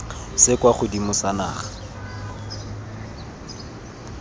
se kwa godimo sa naga